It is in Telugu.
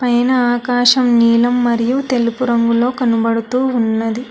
ఐన ఆకాశం నీలం మరియు తెలుపు రంగులో కనబడుతూ ఉన్నది.